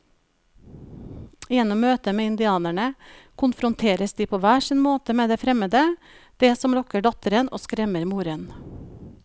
Gjennom møtet med indianerne konfronteres de på hver sin måte med det fremmede, det som lokker datteren og skremmer moren.